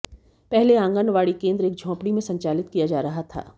पहले आंगनवाड़ी केन्द्र एक झोपड़ी में संचालित किया जा रहा था